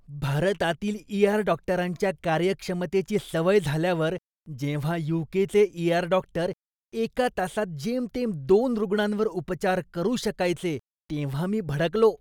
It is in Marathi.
भारतातील ई.आर. डॉक्टरांच्या कार्यक्षमतेची सवय झाल्यावर, जेव्हा यू.के. चे ई.आर. डॉक्टर एका तासात जेमतेम दोन रुग्णांवर उपचार करू शकायचे, तेव्हा मी भडकलो.